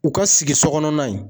U ka sigisokɔnɔna in.